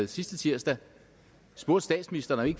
sidste tirsdag spurgte statsministeren